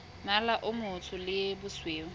mmala o motsho le bosweu